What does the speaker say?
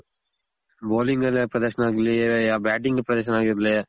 bowling ಪ್ರದರ್ಶನ ಆಗಿರ್ಲಿ, batting ಪ್ರದರ್ಶನ ಆಗಿರ್ಲಿ